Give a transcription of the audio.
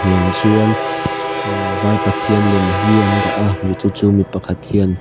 in chuan vai pathian lem hi an daha mi chu chu mi pakhat hian.